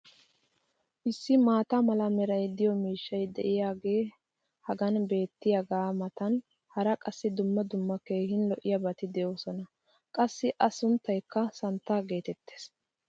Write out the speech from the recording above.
Issi maata mala meray de'iyo miishshay diyaagee hagan beetiyaagaa matan hara qassi dumma dumma keehi lo'iyaabatikka de'oosona. Qassi A sunttaykka santtaa geetettees.